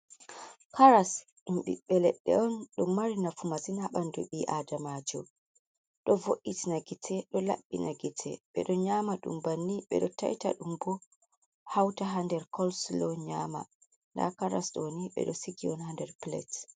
Karas, ɗum ɓiɓɓe leɗɗe on. Ɗum mari nafu masin haa ɓandu ɓi aadamaajo, ɗo vo’itina ngite, ɗo laɓɓina ngite. Ɓe ɗo nyaama ɗum banni, ɓe ɗo taita ɗum bo hauta haa nder kolsilo nyaama, nda karas ɗo ni ɓe ɗo sigi on haa nder pilet.